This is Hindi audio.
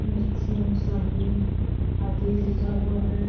नीचे सभी आदि लिखा हुआ है।